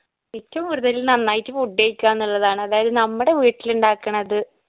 ഏറ്റവും കൂടുതൽ നന്നായിട്ട് food കഴിക്ക എന്നുള്ളതാണ് അതായത് നമ്മടെ വീട്ടിലിണ്ടാക്കണത്